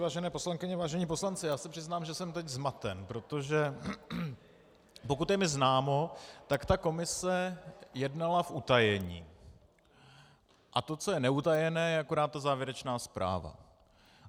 Vážené poslankyně, vážení poslanci, já se přiznám, že jsem teď zmaten, protože pokud je mi známo, tak ta komise jednala v utajení, a to, co je neutajené, je akorát ta závěrečná zpráva.